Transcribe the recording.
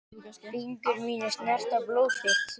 Fingur mínir snerta blóð þitt.